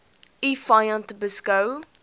u vyand beskou